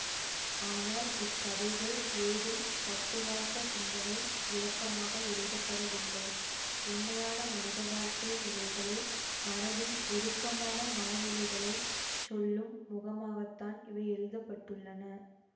ஆனால் இக்கதைகள் ஏதும் தத்துவார்த்த சிந்தனை விளக்கமாக எழுதப்படவில்லை உண்மையான மனித வாழ்க்கை நிலைகளை மனதின் உருக்கமான மன நிலைகளை சொல்லும் முகமாகத்தான் இவை எழுத பட்டுள்ளன